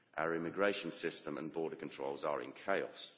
Our immigration system and border controls are in chaos.